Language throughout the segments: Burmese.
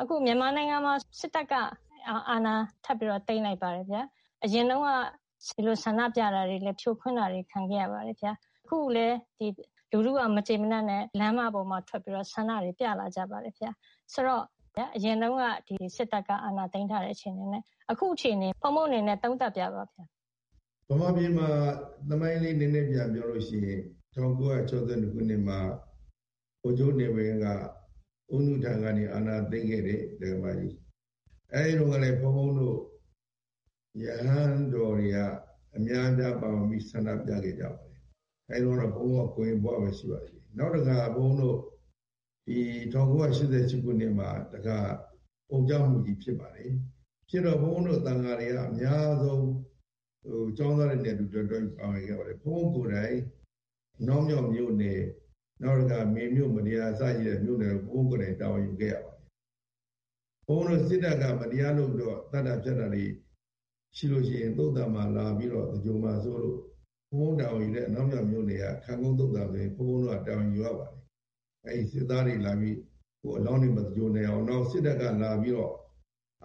အခုမြန်မာနိုင်ငံမှာ စစ်တပ်က အာဏာထပ်ပြီးတော့ သိမ်းလိုက်ပါတယ် ဘုရား။ အရင်တုန်းက ဒီလိုဆန္ဒပြတာတွေ ဖြိုခွင်းတာတွေလည်း ခံခဲ့ရပါတယ် ဘုရား။ အခုလည်း လူထုက မကျေမနပ်နဲ့ လမ်းမပေါ်မှာ ထွက်ပြီးတော့ ဆန္ဒပြကြပါတယ် ဘုရား။ ဆိုတော့ အရင်တုန်းက စစ်တပ်က အဏာသိမ်းထားတဲ့ အခြေအနေနဲ့ အခုအခြေအနေ ဘုန်းဘုန်းအနေနဲ့ သုံးသပ်ပြပါ ဘုရား။ မြန်မာပြည်မှာ သမိုင်းလေး နည်းနည်းပြန်ပြောရင် ၁၉၆၂ ခုနှစ်နှာ ဗိုလ်ချုပ်နေဝင်းက ဦးနုထံကနေ အာဏာသိမ်းခဲ့တယ်။ အဲဒီတုန်းကလည်း ဘုန်းဘုန်းတို့ ရဟန်းတော်တွေက အများကြားပါဝင်ပြီးတော့ ဆန္ဒပြခဲ့တယ် အဲဒီတုန်းက ဘုန်းဘုန်းက ကိုရင်ဘဝဘဲ ရှိပါသေးတယ်။ နောက်တခါ ဘုန်းဘုန်းတို့ ၁၉၈၈ ခုနှစ်မှာတခါ အုံကြွမှုကြီးဖြစ်ပါတယ်။ ဖြစ်တော့ ဘုန်းဘုန်းတို့ သံဃာတွေက အများဆုံး ကျောင်းသားတွေနဲ့အတူ လက်တွဲပြီးဆောင်ရွက်ခဲ့ပါတယ်။ ဘုန်းဘုန်းကိုယ်တိုင် အနောင်မြောက်မြို့နယ် ၊ နောက်တခါ မေမြို့ မတ္တရာမြို့နယ် တို့မှာ တာဝန်ယူခဲ့ရပါတယ်။ စစ်တပ်က မတရားလုပ်ပြီးတော့ သတ်တာ ဖြတ်တာတွေရှိရင် သုသာန် မှာလာပြီးတော့ သင်္ဂြိုဟ် မှာစိုးလို့ ဘုန်းဘုန်းတာဝန်ယူတဲ့ အနောက်မြောက်မြို့နယ်က သုသာန် မှာဆိုရင် ဘုန်းဘုန်းတို့ တာဝန်ယူရပါတယ်။ စစ်သားတွေလာပြီး အလောင်းတွေ မ သင်္ဂြိုဟ် နိုင်အောင်၊ နောက်ပြီး စစ်တပ်က လာပြီးတော့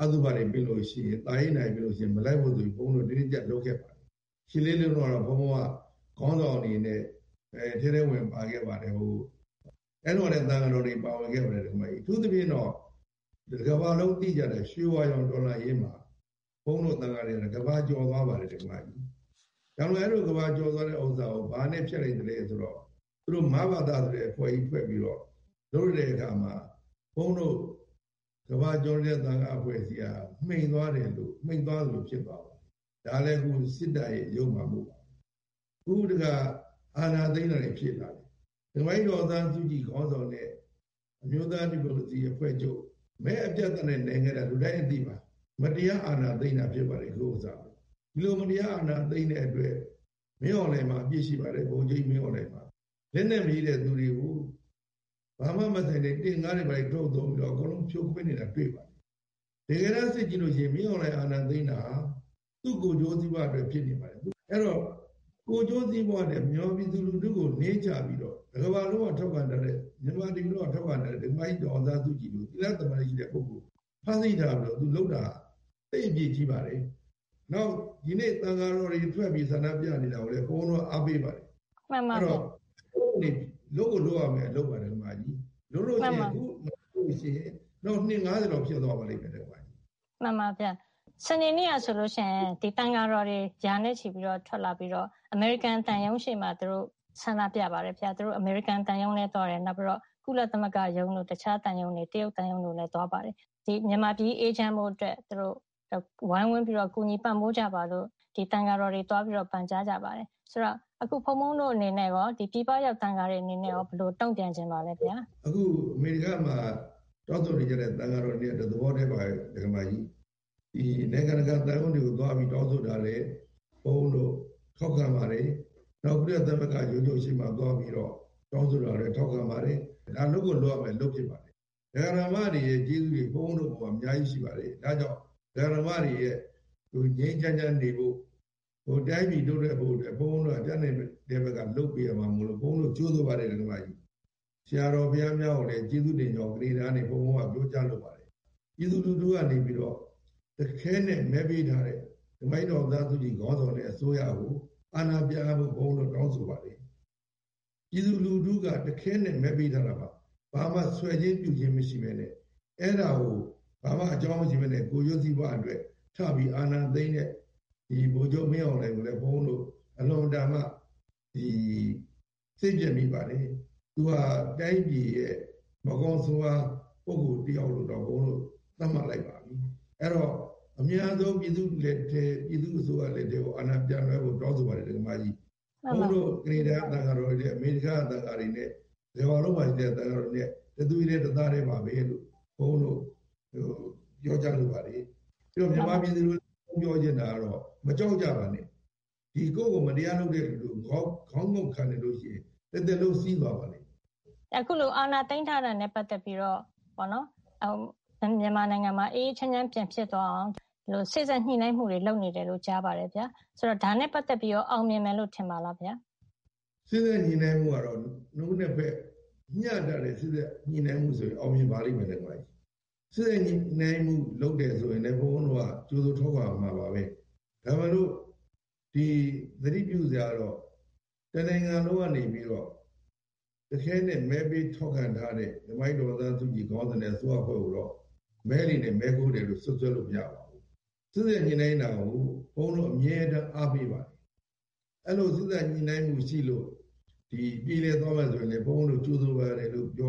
အသုဘတွေဖိတ်ရင် သာရေးနာရေးတွေဖြစ်လို့ရှိရင် မလိုက်ဖို့ဆိုပြီးတော့ ဘုန်းဘုန်းတို့က တင်းတင်းကျပ်ကျပ်လုပ်ခဲ့ပါတယ်။ ၈ လေးလုံးတုန်းက ဘုန်းဘုန်းတို့က ခေါင်းဆောင်အနေနဲ့ ထဲထဲဝင်ဝင်ပါခဲ့ပါတယ်။ အဲဒီတုန်းကလည်း သံဃာတော်တွေ ပါဝင်ခဲ့ပါတယ်။ အထူးသဖြင့်တော့ တကမ္ဘာလုံးသိကြတဲ့ ရွှေဝါရောင်တော်လှန်ရေးမှာ ဘုန်းဘုန်းတို့ သံဃာတွေက ကမ္ဘာကျော်သွားပါတယ်။ ဒါပေမယ့်လို့ အဲဒီလို ကမ္ဘာကျော်သွားတာကို ဘာနဲ့ ဖျက်လိုက်သလဲဆိုတော့ သူတို့ မဘသ ဆိုတဲ့ အဖွဲ့ကြီး ဖွဲ့ပြီးတော့လုပ်လိုက်တာမှာ ဘုန်းဘုန်းတို့ ကမ္ဘာကျော်နေတဲ့ သံဃာအဖွဲ့အစည်းက မှိန်သွားသလို ဖြစ်သွားပါတယ်။ ဒါကလည်း အခု စစ်တပ်ရဲ့ ယုတ်မာမှုပါပဲ။ အခုတခါ အာဏာသိမ်းတဲ့အဖြစ်ကလည်း ဒကာမကြီး ဒေါ်အောင်ဆန်းစုကြည် ဦးဆောင်တဲ့ အမျိုးသား ဒီမိုကရေစီအဖွဲ့ချုပ် NLD က မဲအပြတ်အသတ်နဲ့ နိုင်တာ လူတိုင်းအသိပါ။ မတရားအာဏာသိမ်းတာဖြစ်ပါတယ်။ အခုဟာက ဒီလို မတရားအာဏာသိမ်းတဲ့အတွက် ဗိုလ်ချုပ်မှူးကြီး မင်းအောင်လှိုင်မှာ အပြစ်ရှိပါတယ်။ လက်နက်မရှိတဲ့ပြည်သူတွေကို ဘာမှ မဆိုင်တဲ့ တင့်ကားတွေထိုးပြီးတော့ ဖြိုခွင်းနေတာ တွေ့ပါတယ်။ တကယ်တမ်း စစ်ကြည့်ရင် မင်းအောင်လှိုင်အာဏာသိမ်းတာက သူ့ကိုယ်ကျိုးစီးပွားအတွက် ဖြစ်နေပါတယ်။ အဲဒီတော့ ကိုယ်ကျိုးစီးပွားနဲ့ မြန်မာပြည်သူလူထုကို နင်းချပြီးတော့ တကမ္ဘာလုံးက ထောက်ခံထားတဲ့ မြန်မာပြည်သူလူထုက ထောက်ခံထားတဲ့ ဒကာမကြီး ဒေါ်အောင်ဆန်းစုကြည်လို သီလ၊ သမာဓိရှိတဲ့ ပုဂ္ဂိုလ်ကို ဖမ်းဆီးထားပြီးတော့ သူလုပ်တာက သိပ်အပြစ်ကြီးပါတယ်။ နောက် ဒီနေ့ သံဃာတော်တွေ ထွက်ပြီးတော့ ဆန္ဒပြနေတာကိုလည်း ဘုန်းဘုန်းတို့က အားပေးပါတယ်။ အဲဒီတော့ ဘုန်းဘုန်းတို့အနေနဲ့ လုပ်ကို လုပ်ရမှာ ဒကာမကြီး ။ မဟုတ်ဘူးဆိုရင် နောက်အနှစ် ၅၀ လောက်ဖြစ်သွားပါလိမ့်မယ် ဒကာမကြီး ။ မှန်ပါ့ ဘုရား ။ စနေနေ့ကဆိုရင် သံဃာတော်တွေ ရာနဲ့ ချီပြီးတော့ ထွက်လာပြီးတော့ အမေရိကန် သံရုံးရှေ့မှာ ဆန္ဒပြပါတယ် ဘုရား ။ သူတို့ အမေရိကန် သံရုံးလည်းသွားတယ် နောက်ပြီးတော့ ကုလသမဂ္ဂ ရုံးတို့ တခြား တရုတ်သံရုံးတွေလည်း သွားပါတယ်။ မြန်မာပြည်ကြီး အေးချမ်းဖို့အတွက် သူတို့ ဝိုင်းဝန်းပြီးတော့ ကူညီပံ့ပိုးကြပါလို့ ဒီ သံဃာတော်တွေ သွားပြီးတော့ ပန်ကြားကြပါတယ်။ ဆိုတော့ အခု ဘုန်းဘုန်းတို့အနေနဲ့ရော ၊ ဒီ ပြည်ပရောက် သံဃာတော်တွေအနေနဲ့ ဘယ်လို တုံ့ပြန်ချင်ပါသလဲ။ အခုအမေရိကန်မှာရှိတဲ့ သံဃာတော်တွေနဲ့ တသဘောထဲပါပဲ ဒကာမကြီး ။ ဒီ နိုင်ငံတကာ သံရုံးတွေကို သွားပြီးတော့တောင်းဆိုတာတွေ ဘုန်းဘုန်းတို့ ထောက်ခံပါတယ်။ နောက်ပြီးတော့ ကုလသမဂ္ဂ ရုံးတို့ရှေ့မှာ သွားပြီးတော့ တောင်းဆိုတာလည်း ထောက်ခံပါတယ်။ ဒါလုပ်ကို လုပ်ရမယ့်အလုပ်ဖြစ်ပါတယ်။ ဒကာ၊ ဒကာမတွေရဲ့ ကျေးဇူးတွေ ဘုန်းဘုန်းတို့အပေါ်မှာ အများကြီးရှိပါတယ်။ အဲဒါကြောင့် ဒကာ၊ ဒကာမတွေရဲ့ ငြိမ်းငြိမ်းချမ်းချမ်းနေဖို့ တိုင်းပြည်တိုးတက်ဖို့ ဘုန်းဘုန်းတို့က တတ်နိုင်တဲ့ ဘက်က လုပ်ပေးရမှာမို့ ဘုန်းဘုန်းတို့က ကြိုဆိုပါတယ် ဒကာမကြီး ။ ဆရာတော် ဘုရားများကိုလည်း ကျေးဇူးတင်ကြောင်း ကနေဒါကနေ ဘုန်းဘုန်းပြောကြားလိုပါတယ်။ ပြည်သူလူထုကနေပြီးတော့ တခဲနက် မဲပေးထားတဲ့ ဒကာမကြီး ဒေါ်အောင်ဆန်းစုကြည် ခေါင်းဆောင်တဲ့ အစိုးရကို အာဏာပြန်အပ်ဖို့ ဘုန်းဘုန်းတို့ တောင်းဆိုပါတယ်။ မြန်မာပြည်သူလူထုက တခဲနက် မဲပေးထားတာပါ။ ဘာမှ ဆွယ်ခြင်း ပြုခြင်းမရှိပဲနဲ့ အဲဒါကို ဘာမှ အကြောင်းမရှိပဲနဲ့ ကိုယ်ကျိုးစီးပွားအတွက် ထပြီး အာဏာသိမ်းတဲ့ ဗိုလ်ချုပ်မင်းအောင်လှိုင်ကိုလည်း ဘုန်းဘုန်းတို့ အလွန်အတန်မှ စိတ်ပျက်မိပါတယ်။ သူက တိုင်းပြည်ရဲ့ မကောင်းဆိုးဝါး ပုဂ္ဂိုလ် တယောက်လို့တောင် သတ်မှတ်လိုက်ပါပြီ ။ အဲဒီတော့ အမြန်ဆုံး ပြည်သူ့အစိုးရလက်ထဲ ကို အာဏာပြန်လွှဲဖို့ တောင်းဆိုပါတယ် ဒကာမကြီး ။ဘုန်းဘုန်းတို့ ကနေဒါက သံဃာတော်တွေနဲ့ အမေရိကန်က သံဃာတော်တွေနဲ့ တကမ္ဘာလုံးမှာရှိတဲ့ သံဃာတော်တွေနဲ့ တသွေးထဲ၊ တသားထဲပါပဲလည်း ဘုန်းဘုန်းတို့ပြောကြားလိုပါတယ်။ နောက်ပြီးတော့ မြန်မာပြည်သူကို ဘုန်းဘုန်းပြောချင်တာကတော့ မကြောက်ကြပါနဲ့ ။ ကိုယ့်ကို မတရားလုပ်တဲ့လူကို ခေါင်းငုံ့ခံနေရင် တသက်လုံး စီးသွားပါလိမ့်မယ်။ အခုလို အာဏာသိမ်းတာနဲ့ ပတ်သက်ပြီးတော့ မြန်မာနိုငငံမှာ အေးအေးချမ်းချမ်းပြန်ဖြစ်သွားအောင် စေ့စပ်ညှိနှိုင်းမှုတွေ လုပ်နေတယ်လို့ ကြားပါတယ် ဘုရား။ ဒါနဲ့ ပတ်သက်ပြီးတော့ အောင်မြင်မယ်လို့ ထင်ပါသလား ဘုရား။ စေ့စပ်ညှိနှိုင်းမှုကတော့ နှစ်ဦးနှစ်ဖက် မျှတတဲ့ စေ့စပ်ညှိနှိုင်းမှုဆိုရင် အောင်မြင်ပါလိမ့်မယ် ဒကာမကြီး ။စေ့စပ်ညှိနှိုင်းမှုလုပ်တယ်ဆိုရင် ဘုန်းဘုန်းတို့က ကြိုဆို ထောက်ခံရမှာပါပဲ။ ဒါပေမယ့်လို့ သတိပြုစရာတော့ တနိုင်ငံလုံးကနေပြီးတော့ တခဲနက် မဲပေးထောက်ခံထားတဲ့ ဒကာမကြီး ဒေါ်အောင်ဆန်းစုကြည်နဲ့ အစိုးရအဖွဲ့ကိုတော့ မဲလိမ်တယ် မဲခိုးတယ်ဆိုပြီးတော့ စွပ်စွဲလို့ မရပါဘူး ။ စေ့စပ်ညှိနှိုင်းတာကို ဘုန်းဘုန်းတို့ အမြဲတမ်း အားပေးပါတယ်။ အဲလို စေ့စပ်ညှိနှိုင်းမှုရှိလို့ ပြေလည်သွားမယ်ဆိုရင်လည်း ဘုန်းဘုန်းတို့ ကြိုဆိုတယ်လို့ ပြော